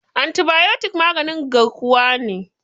antibayotik maganin garkuwa ne